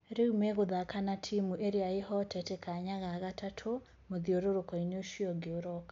Rĩu megũthaka na timu iria ihoteete kanya ga gatatũ mũthiũrũrũko ũcio ũngĩ ũroka.